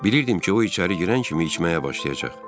Bilirdim ki, o içəri girən kimi içməyə başlayacaq.